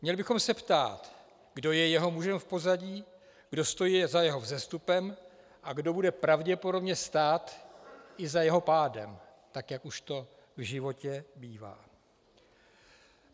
Měli bychom se ptát, kdo je jeho mužem v pozadí, kdo stojí za jeho vzestupem a kdo bude pravděpodobně stát i za jeho pádem, tak jak už to v životě bývá.